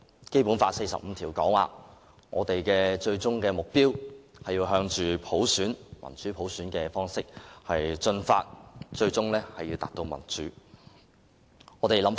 《基本法》第四十五條訂明，我們的最終目標是要向民主普選邁進，最終達至普選。